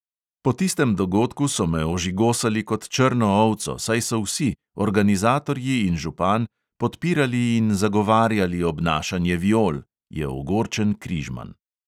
"Po tistem dogodku so me ožigosali kot črno ovco, saj so vsi – organizatorji in župan – podpirali in zagovarjali obnašanje viol," je ogorčen križman.